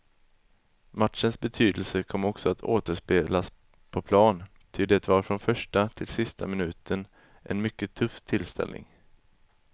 Matchens betydelse kom också att återspeglas på plan, ty det var från första till sista minuten en mycket tuff tillställning.